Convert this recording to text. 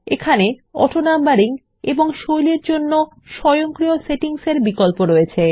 চাইলে অটোনাম্বারিং এবং স্টাইলস এর জন্য স্বয়ংক্রিয় সেটিংস ধার্য করতে পারেন